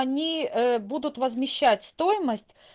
они будут возмещать стоимость